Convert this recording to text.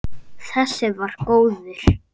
Þessi var góður!